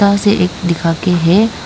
उसे एक दिखा के है।